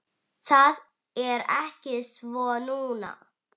Það er ekki svo núna.